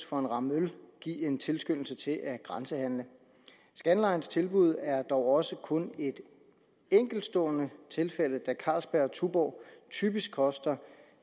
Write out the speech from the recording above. for en ramme øl give en tilskyndelse til at grænsehandle scanlines tilbud er dog også kun et enkeltstående tilfælde da carlsberg og tuborg typisk koster